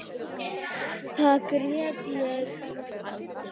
Þá grét ég.